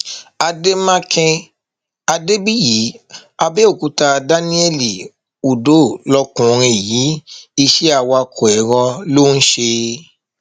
àdèmàkè adébíyì àbẹòkúta daniel udoh lọkùnrin yìí iṣẹ awakọ èrò ló ń ṣe